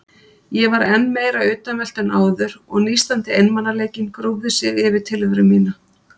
Ég var enn meira utanveltu en áður og nístandi einmanaleikinn grúfði sig yfir tilveru mína.